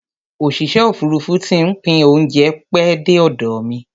Osìṣẹ́ òfurufú ti ń pín óúnjẹ pẹ́ dé ọ̀dọ̀ mi